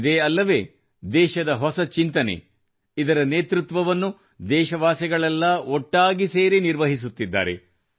ಇದೇ ಅಲ್ಲವೇ ದೇಶದ ಹೊಸ ಚಿಂತನೆ ಇದರ ನೇತೃತ್ವವನ್ನು ದೇಶವಾಸಿಗಳೆಲ್ಲಾ ಒಟ್ಟಾಗಿ ಸೇರಿ ನಿರ್ವಹಿಸುತ್ತಿದ್ದಾರೆ